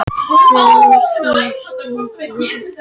Þegar svo stendur á höfum við allt á hornum okkar.